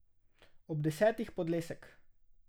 Ob desetih podlesek.